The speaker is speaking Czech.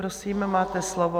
Prosím, máte slovo.